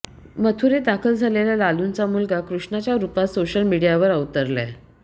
मथुरेत दाखल झालेल्या लालुंचा मुलगा कृष्णाच्या रुपात सोशल मीडियावर अवतरलाय